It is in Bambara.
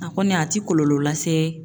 A kɔni a tɛ kɔlɔlɔ lase